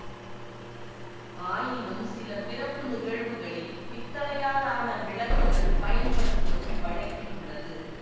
ஆயினும் சில பிறப்பு நிகழ்வுகளில் பித்தளையால் ஆன விளக்குகள் பயன்படுத்துவதும் வழக்கில் உள்ளது